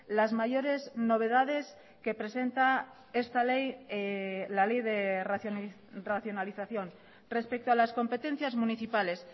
las mayores novedades que presenta esta ley la ley de racionalización respecto a las competencias municipales